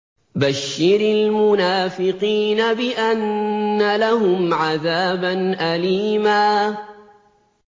بَشِّرِ الْمُنَافِقِينَ بِأَنَّ لَهُمْ عَذَابًا أَلِيمًا